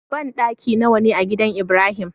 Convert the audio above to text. Banɗaki nawa ne a gidan ibrahim?